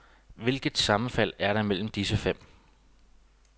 Hvilket sammenfald er der mellem disse fem?